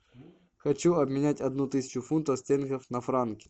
хочу обменять одну тысячу фунтов стерлингов на франки